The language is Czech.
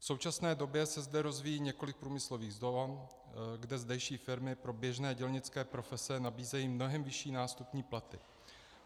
V současné době se zde rozvíjí několik průmyslových zón, kde zdejší firmy pro běžné dělnické profese nabízejí mnohem vyšší nástupní platy.